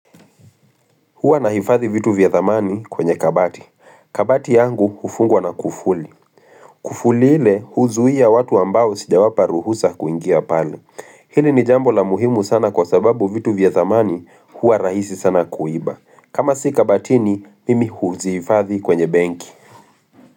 Huwa na nahifadhi vitu vya thamani kwenye kabati. Kabati yangu hufungwa na kufuli. Kufuli ile huzuia watu ambao sijawapa ruhusa kuingia pale. Hili ni jambo la muhimu sana kwa sababu vitu vya thamani huwa rahisi sana kuiba. Kama si kabatini mimi huzihifadhi kwenye benki.